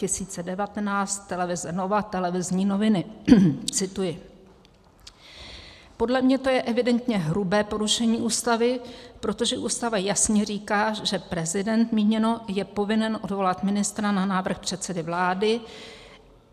Cituji: "Podle mě to je evidentně hrubé porušení Ústavy, protože Ústava jasně říká, že - prezident míněno - je povinen odvolat ministra na návrh předsedy vlády.